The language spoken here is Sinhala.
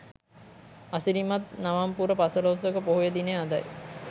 අසිරිමත් නවම් පුර පසළොස්වක පොහොය දිනය අදයි.